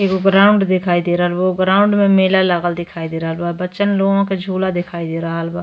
एगो ग्राउंड देखाई दे रहल बा। ओ ग्राउंड में मेला लागल दिखाई दे रहल बा। बच्चन लोगों के झूला देखाई दे रहल बा।